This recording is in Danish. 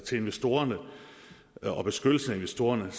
til investorerne og beskyttelse af investorerne